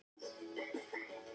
Alla nema mig.